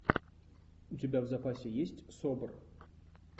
у тебя в запасе есть собр